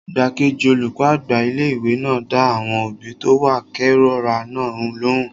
Igbákejì olùkọ́ àgbà ilé-ìwé náà dá àwọn òbí tó wá kérora náà lóhùn